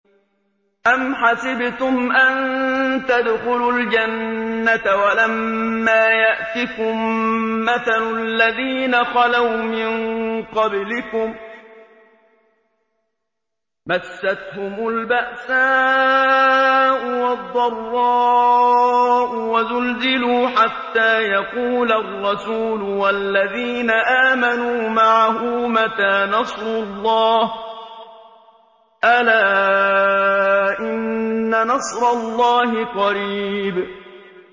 أَمْ حَسِبْتُمْ أَن تَدْخُلُوا الْجَنَّةَ وَلَمَّا يَأْتِكُم مَّثَلُ الَّذِينَ خَلَوْا مِن قَبْلِكُم ۖ مَّسَّتْهُمُ الْبَأْسَاءُ وَالضَّرَّاءُ وَزُلْزِلُوا حَتَّىٰ يَقُولَ الرَّسُولُ وَالَّذِينَ آمَنُوا مَعَهُ مَتَىٰ نَصْرُ اللَّهِ ۗ أَلَا إِنَّ نَصْرَ اللَّهِ قَرِيبٌ